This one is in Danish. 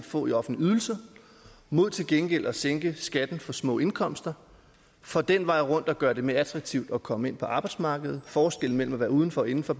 få i offentlig ydelse mod til gengæld at sænke skatten for små indkomster for den vej rundt at gøre det mere attraktivt at komme ind på arbejdsmarkedet og forskellen mellem at være uden for og inden for